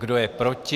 Kdo je proti?